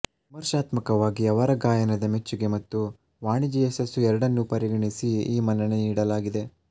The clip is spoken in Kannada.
ವಿಮರ್ಶಾತ್ಮಕವಾಗಿ ಅವರ ಗಾಯನದ ಮೆಚ್ಚುಗೆ ಮತ್ತು ವಾಣಿಜ್ಯ ಯಶಸ್ಸು ಎರಡನ್ನೂ ಪರಿಗಣಿಸಿ ಈ ಮನ್ನಣೆ ನೀಡಲಾಗಿದೆ